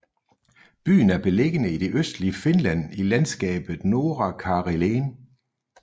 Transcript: Byen er beliggende i det østlige Finland i landskabet Norra Karelen